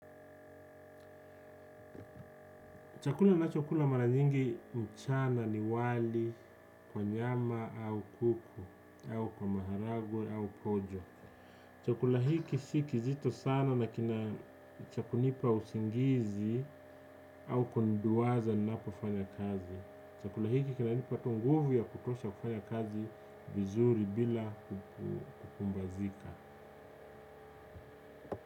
Chakula nacho kula mara nyingi mchana ni wali kwa nyama au kuku au kwa maharagwe au kojo chakula hiki si kizito sana na kina cha kunipa usingizi au kuniduwaza ninapo fanya kazi. Chakula hiki kina nipa tu nguvu ya kutosha kufanya kazi vizuri bila kupumbazika.